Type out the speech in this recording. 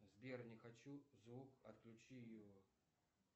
сбер не хочу звук отключи его